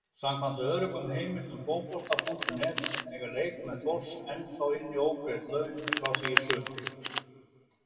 Samkvæmt öruggum heimildum Fótbolta.net eiga leikmenn Þórs ennþá inni ógreidd laun frá því í sumar.